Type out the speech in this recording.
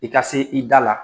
I ka se i da la.